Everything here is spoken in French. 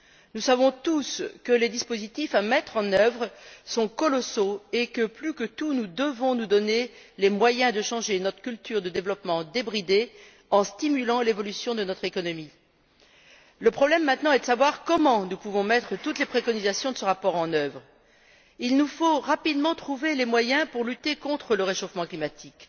Nous savons tous que les dispositifs à mettre en œuvre sont colossaux et que, plus que tout, nous devons nous donner les moyens de changer notre culture de développement débridé, en stimulant l'évolution de notre économie. Le problème maintenant est de savoir comment nous pouvons mettre toutes les recommandations de ce rapport en œuvre. Nous devons rapidement trouver les moyens pour lutter contre le réchauffement climatique.